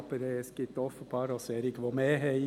Aber es gibt offenbar auch solche, bei denen es mehr ist.